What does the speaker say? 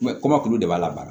kɔmɔkili de b'a labara